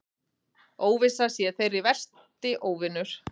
Óvissan sé þeirra versti óvinur.